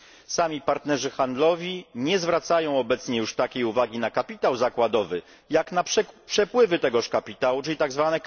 Sami partnerzy handlowi nie zwracają obecnie już takiej uwagi na kapitał zakładowy, jak na przepływy tego kapitału, czyli tzw.